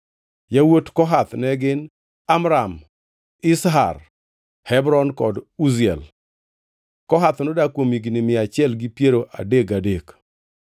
Yawuot Kohath ne gin: Amram, Izhar, Hebron kod Uziel. (Kohath nodak kuom higni mia achiel gi piero adek gadek.)